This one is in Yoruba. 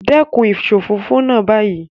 Dekun isofofo naa bayii